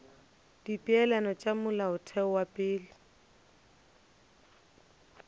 dipeelano tša molaotheo wa pele